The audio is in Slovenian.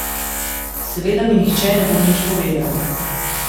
Seveda mi nihče ne bo nič povedal.